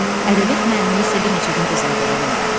Ədəbiyyat müəllimi isə bir neçə gün özünə gələ bilmədi.